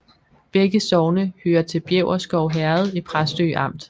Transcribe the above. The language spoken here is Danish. Begge sogne hørte til Bjæverskov Herred i Præstø Amt